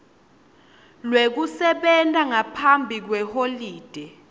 lwekusebenta ngaphambi kweholide